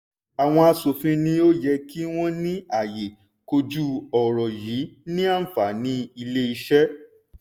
àwọn asòfin ni ó yẹ kí wọ́n ní àyè kojú ọ̀rọ̀ yìí ní àǹfàní ilé iṣé.